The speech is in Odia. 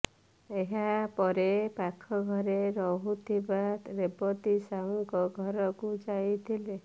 ଏହା ପରେ ପାଖ ଘରେ ରହୁଥିବା ରେବତୀ ସାହୁଙ୍କ ଘରକୁ ଯାଇଥିଲେ